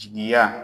Jigiya